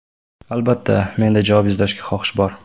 Albatta, menda javob izlashga xohish bor.